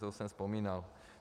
To už jsem vzpomínal.